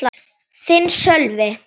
Þinn, Sölvi.